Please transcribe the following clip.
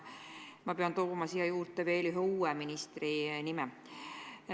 Ma pean sellesse ritta juurde tooma veel ühe uue ministri nime.